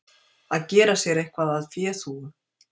Að gera sér eitthvað að féþúfu